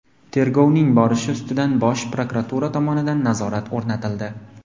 Tergovning borishi ustidan Bosh prokuratura tomonidan nazorat o‘rnatildi.